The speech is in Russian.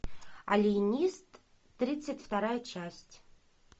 алиенист тридцать вторая часть